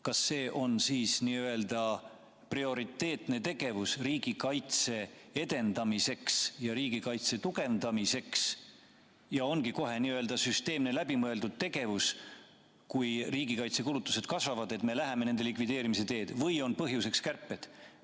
Kas see, et me läheme nende likvideerimise teed, on siis prioriteetne, süsteemne ja läbimõeldud tegevus riigikaitse edendamiseks ja tugevdamiseks olukorras, kus riigikaitsekulutused kasvavad, või on põhjuseks kärped?